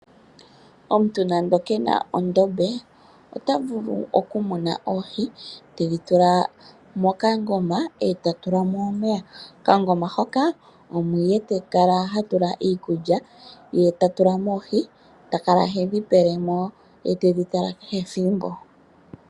Omuntu nando ke na ondombe ota vulu okumuna oohi tedhi tula mokangoma e ta tula mo omeya. Mokangoma hoka omo ihe ta kala ha tula iikulya, ye ta tula mo oohi ta kala hedhi pele mo ye tedhi tala kehe thimbo.